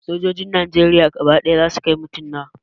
Sojojin najeriya gaba ɗaya za su kai mutum nawa?